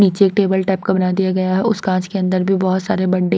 नीचे table type का बना दिया गया उस कांच के अंदर भी बहोत सारे बडे --